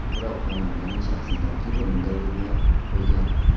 Biroq xonandaning shaxsiy tarkibi unda yurmay qo‘ygan.